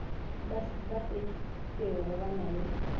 ba šetšego ba na le